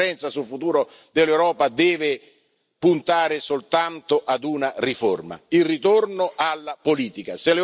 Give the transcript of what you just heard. E la conferenza sul futuro dell'Europa deve puntare soltanto ad una riforma il ritorno alla politica.